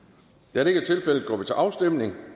da det ikke er tilfældet går vi til afstemning